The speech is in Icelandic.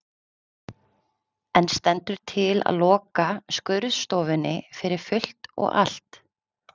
En stendur til að loka skurðstofunni fyrir fullt og allt?